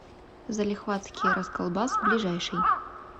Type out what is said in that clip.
залихватский расколбас ближайший